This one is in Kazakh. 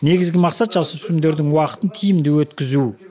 негізгі мақсат жасөпірімдердің уақытын тиімді өткізу